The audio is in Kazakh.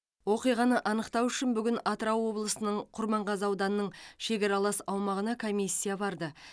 оқиғаны анықтау үшін бүгін атырау облысының құрманғазы ауданының шекаралас аумағына комиссия барды